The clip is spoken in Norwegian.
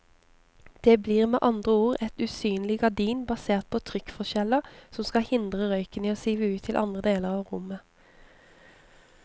Det blir med andre ord et usynlig gardin basert på trykkforskjeller som skal hindre røyken i å sive ut til andre deler av rommet.